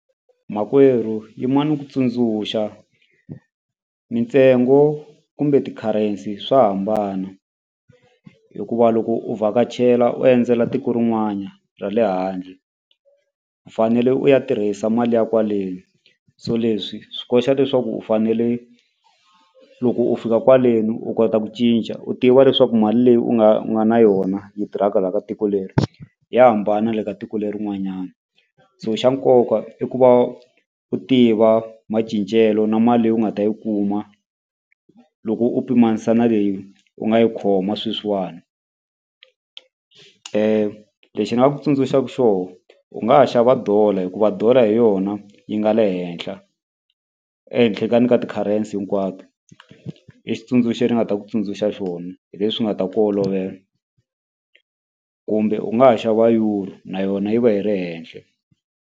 Makwerhu yima ni ku tsundzuxa mintsengo kumbe ti-currency swa hambana hikuva loko u vhakachela u endzela tiko rin'wana ra le handle u fanele u ya tirhisa mali ya kwaleni so leswi swi koxa leswaku u fanele loko u fika kwaleni u kota ku cinca u tiva leswaku mali leyi u nga u nga na yona yi tirhaka la ka tiko leri ya hambana le ka tiko lerin'wanyani so xa nkoka i ku va u tiva macincelo na mali leyi u nga ta yi kuma loko u pimanisa na leyi u nga yi khoma sweswiwani lexi nga ku tsundzuxaku xoho u nga ha xava dollar hikuva dollar hi yona yi nga le henhla ehenhla ka ni ka ti-currency hinkwato i xitsundzuxo ni nga ta ku tsundzuxa xona hi leswi nga ta ku olovela kumbe u nga ha xava euro na yona yi va yi ri henhle.